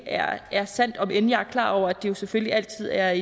er sandt om end jeg er klar over at det jo selvfølgelig altid er